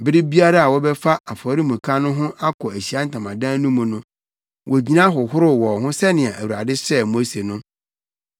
Bere biara a wɔbɛfa afɔremuka no ho akɔ Ahyiae Ntamadan no mu no, wogyina hohoroo wɔn ho sɛnea Awurade hyɛɛ Mose no.